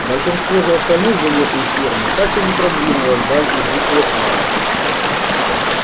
большинство же остальных животных фермы так и не продвинулось дальше буквы а